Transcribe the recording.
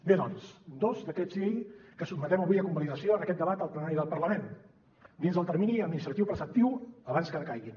bé doncs dos decrets llei que sotmetem avui a convalidació en aquest debat al plenari del parlament dins del termini administratiu preceptiu abans que decaiguin